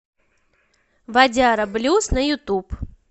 вадяра блюз на ютуб